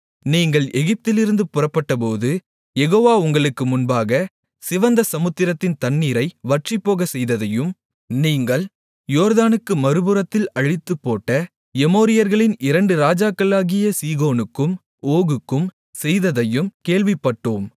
நீங்கள் எகிப்திலிருந்து புறப்பட்டபோது யெகோவா உங்களுக்கு முன்பாக சிவந்த சமுத்திரத்தின் தண்ணீரை வற்றிப்போகச்செய்ததையும் நீங்கள் யோர்தானுக்கு மறுபுறத்தில் அழித்துப்போட்ட எமோரியர்களின் இரண்டு ராஜாக்களாகிய சீகோனுக்கும் ஓகுக்கும் செய்ததையும் கேள்விப்பட்டோம்